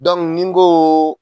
ni n koo